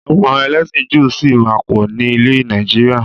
Àwọn ẹlẹ́sìn Júù sì máa pọ̀ ni ilẹ̀ Nàìjíríà.